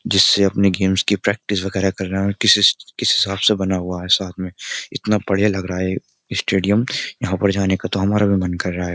जिससे अपनी गेम्स की प्रैक्टिस वगैरह कर रहे हैं और किस किस हिसाब से बना हुआ है साथ में इतना बढ़िया लग रहा है ये स्टेडियम यहाँ पर जाने का तो हमारा भी मन कर रहा है।